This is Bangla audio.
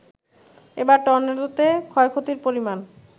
এবারের টর্নেডোতে ক্ষয়ক্ষতির পরিমাণ